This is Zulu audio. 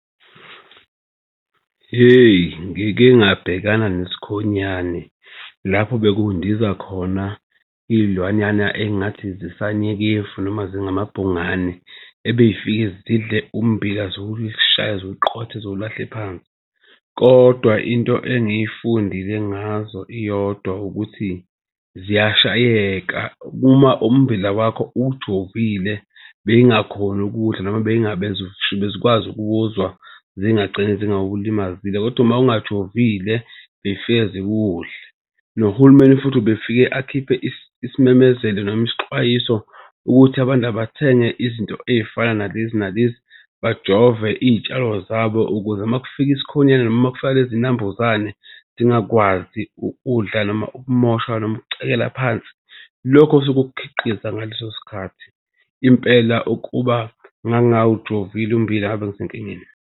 Hheyi ngike ngabhekana nesikhonyane lapho bekundiza khona izilwanyana engathi zisale nyekefu noma zingamabhungane ebezifikile zidle ummbila ziwushaye ziwuqothe zulahle ephansi. Kodwa into engiyifundile ngazo iyodwa ukuthi ziyashayeka uma ummbila wakho ujovile, bezingakhoni ukuwudla noma bezikwazi ukuwuzwa zingagcina zingawulimazile. Kodwa uma ungajovile, bezifika ziwudle. Nohulumeni futhi ubefike akhiphe isimemezelo noma isixwayiso ukuthi abantu abathenge izinto ezifana nalezi nalezi, bajove iy'tshalo zabo ukuze uma kufika isikhonyana noma uma kufika nezinambuzane zingakwazi udla noma ukumoshwa noma ukucekela phansi lokho osuke ukukhiqiza ngaleso sikhathi. Impela ukuba ngangawujovile ummbila, ngabe ngisenkingeni.